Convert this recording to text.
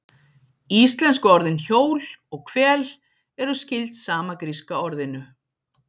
íslensku orðin hjól og hvel eru skyld sama gríska orðinu